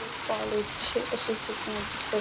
हे कॉलेज चे असे चित्र दिसत --